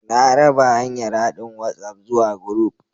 Na raba hanyar haɗin WhatsApp zuwa group